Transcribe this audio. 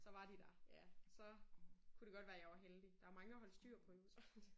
Så var de der. Ja så kunne det godt være jeg var heldig der mange at holde styr på jo så